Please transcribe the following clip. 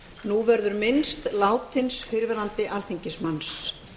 nú verður minnst látins fyrrverandi alþingismanns